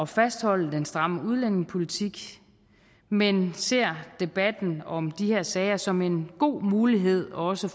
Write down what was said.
fastholde den stramme udlændingepolitik men ser debatten om de her sager som en god mulighed for også